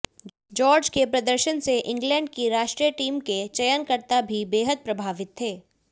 George के प्रदर्शन से इंग्लैंड की राष्ट्रीय टीम के चयनकर्ता भी बेहद प्रभावित थे